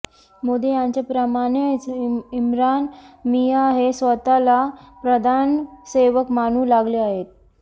मोदी यांच्याप्रमाणेच इम्रान मियां हे स्वतःला प्रधान सेवक मानू लागले आहेत